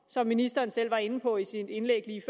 som ministeren selv var inde på i sit indlæg lige